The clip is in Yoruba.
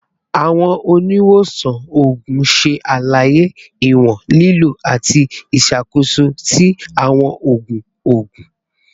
Awọn oniwosan oogun ṣe alaye iwọn lilo ati iṣakoso ti awọn oogun oogun